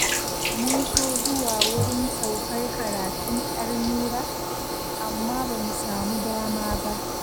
Mun so zuwa wurin saukar karatun 'yar Nura, amma ba mu samu dama ba